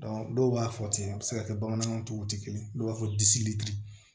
dɔw b'a fɔ ten a bɛ se ka kɛ bamanankan tigiw tɛ kelen ye dɔw b'a fɔ